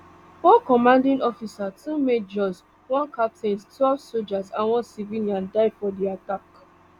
one commanding officer two majors one captain twelve sojas and one civilian die for di attack